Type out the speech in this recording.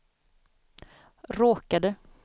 råkade